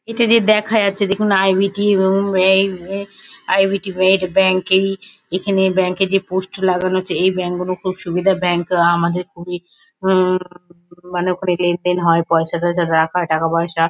এটা দিয়ে দেখা যাচ্ছে দেখুন আই.বি.টি -এ রুম এই ইয়ে আই.বি.টি নেট ব্যাংকিং এখানে ব্যাঙ্ক -এ যে পোস্ট লাগানো আছে এই ব্যাঙ্ক -গুনো খুব সুবিধার ব্যাঙ্ক আ- আমাদের খুবই হুম মানে ওখানে লেন দেন হয় পয়সা টয়সা রাখা টাকা পয়সা--